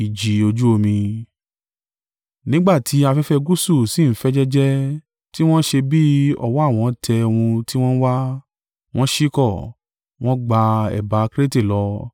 Nígbà tí afẹ́fẹ́ gúúsù sì ń fẹ́ jẹ́jẹ́, tí wọn ṣe bí ọwọ́ àwọn tẹ ohun tí wọn ń wá, wọ́n ṣíkọ̀, wọn ń gba ẹ̀bá Krete lọ.